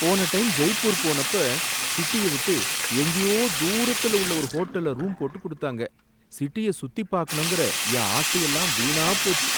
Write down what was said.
போன டைம் ஜெய்பூர் போனப்ப சிட்டிய விட்டு எங்கயோ தூரத்துல உள்ள ஒரு ஹோட்டல்ல ரூம் போட்டுக் குடுத்தாங்க, சிட்டிய சுத்திப் பார்க்கணும்ங்கிற என் ஆசையெல்லாம் வீணாப் போச்சு.